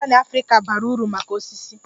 Mahogany Africa bara uru maka osisi